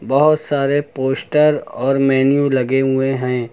बहुत सारे पोस्टर और मेन्यू लगे हुए हैं।